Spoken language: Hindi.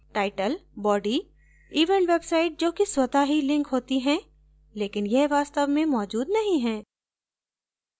title body event website जो कि स्वत: ही link होती है लेकिन यह वास्तव में मौजूद नहीं है